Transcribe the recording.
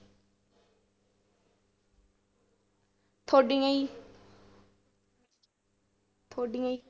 ਤੁਹਾਡੀਆਂ ਜੀ ਤੁਹਾਡੀਆਂ ਜੀ?